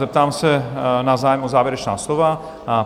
Zeptám se na zájem o závěrečná slova?